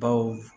Baw